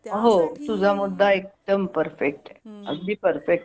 हो तुझा मुद्दा एकदम परफेक्ट अगदी परफेक्ट ये